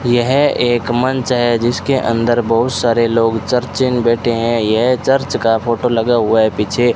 यह एक मंच है जिसके अंदर बहुत सारे लोग चर्च में बैठे हैं यह चर्च का फोटो लगा हुआ है पीछे।